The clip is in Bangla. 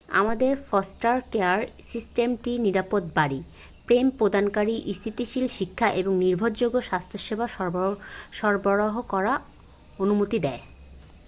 আমাদের ফস্টার কেয়ার সিস্টেমটি নিরাপদ বাড়ি প্রেম প্রদানকারী স্থিতিশীল শিক্ষা এবং নির্ভরযোগ্য স্বাস্থ্যসেবা সরবরাহ করার অনুমতি দেয়